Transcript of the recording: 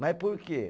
Mas por quê?